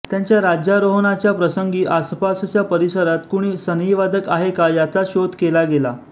त्यांच्या राज्यारोहणाच्या प्रसंगी आसपासच्या परिसरात कुणी सनईवादक आहे का याचा शोध केला गेला